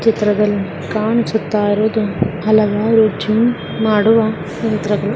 ಚಿತ್ರದಲ್ಲಿ ಕಾಣಿಸುತ್ತಾ ಇರುವುದು ಹಲವಾರು ಜಿಮ್ ಮಾಡುವ ಯಂತ್ರಗಳು .